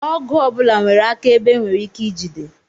Ọgụ ọbụla nwere aka ebe e nwere ike ijide